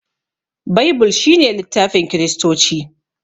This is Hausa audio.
Baibul shine littafin kiristoci